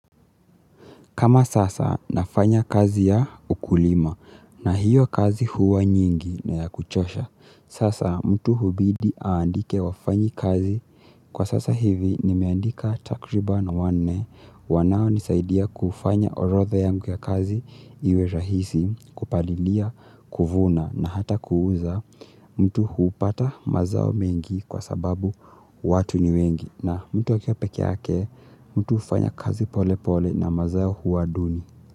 Kama sasa nafanya kazi ya ukulima na hiyo kazi huwa nyingi na ya kuchosha, sasa mtu hubidi aandike wafanyi kazi. Kwa sasa hivi nimeandika takriban wanne wanao nisaidia kufanya orothe yangu ya kazi iwe rahisi kupalilia kuvuna na hata kuuza mtu huupata mazao mengi kwa sababu watu ni wengi. Na mtu akiwa peke yake, mtu hufanya kazi pole pole na mazao huwa duni.